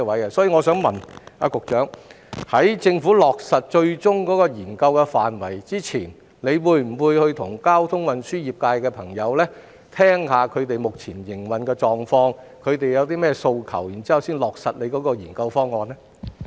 因此，我想問局長，在政府落實最終的研究範圍之前，會否與交通運輸業界的朋友會面，了解他們目前的營運狀況、他們有何訴求，然後才落實研究方案呢？